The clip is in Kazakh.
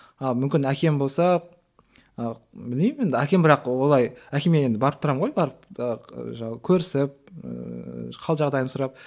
а мүмкін әкем болса ы білмеймін енді әкем бірақ олай әкеме енді барып тұрамын ғой барып ы көрісіп ііі қал жағдайын сұрап